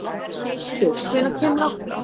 Áshildur, hvenær kemur áttan?